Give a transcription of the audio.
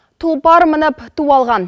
тұлпар мініп ту алған